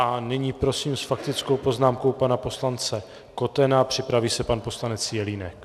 A nyní prosím s faktickou poznámkou pana poslance Kotena, připraví se pan poslanec Jelínek.